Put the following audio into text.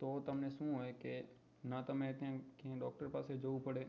તો તમે શું હોય કે ના તમારે doctor પાસે જવું પડે